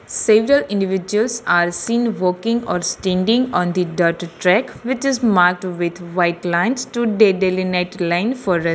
Stranger individuals are seen working or standing on the dhirt thread which is marked with white lines to deadline net line for --